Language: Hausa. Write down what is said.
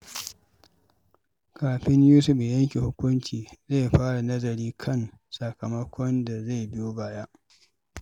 Kafin Yusuf ya yanke hukunci, zai fara nazari kan sakamakon da zai biyo baya.